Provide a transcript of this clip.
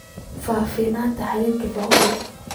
fahfaahinta xiriirka paula